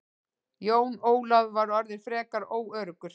Jón Ólafur var orðinn frekar óöruggur.